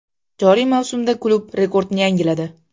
Joriy mavsumda klub rekordni yangiladi .